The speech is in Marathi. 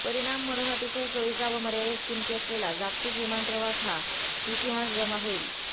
परिणाम म्हणून अतिशय सोयीचा व मर्यादित किमती असलेला जागतिक विमान प्रवास हा इतिहासजमा होईल